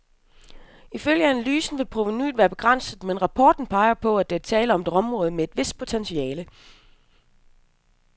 Ifølge analysen vil provenuet været begrænset, men rapporten peger på, at der er tale om et område med et vist potentiale.